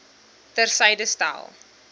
ter syde stel